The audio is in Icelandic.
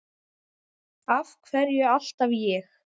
Af hverju alltaf ég?